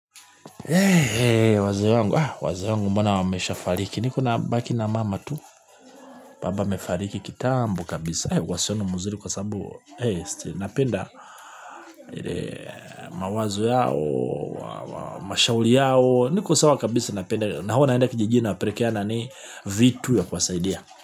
Wazee wangu bana wamesha fariki niko nabaki na mama tu baba amefariki kitambo kabisa uhusiano mzuri kwa sababu napenda mawazo yao mashauri yao niko sawa kabisa napenda na hua naenda kijijini na pelekeana vitu ya kuwasaidia.